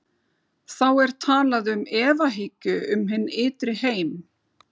Þá er talað um efahyggju um hinn ytri heim.